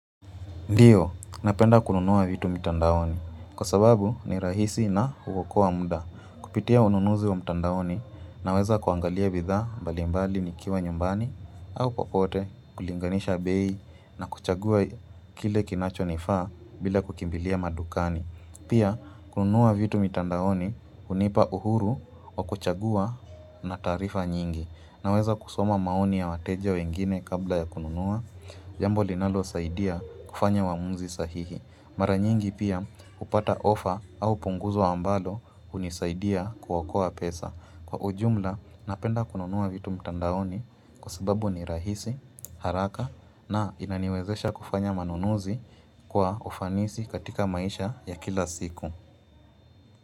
Ndio, napenda kununua vitu mitandaoni. Kwa sababu, ni rahisi na huokoa muda. Kupitia ununuzi wa mitandaoni naweza kuangalia bidha mbalimbali nikiwa nyumbani au kokote kulinganisha bei na kuchagua kile kinacho nifa bila kukimbilia madukani. Pia, kununua vitu mitandaoni hunipa uhuru wa kuchagua na taarifa nyingi. Naweza kusoma maoni ya wateja wengine kabla ya kununua. Jambo linalo saidia kufanya uamuzi sahihi. Mara nyingi pia hupata ofa au punguzo ambalo hunisaidia kuokoa pesa. Kwa ujumla napenda kununua vitu mtandaoni kwa sababu ni rahisi, haraka na inaniwezesha kufanya manunuzi kwa ufanisi katika maisha ya kila siku.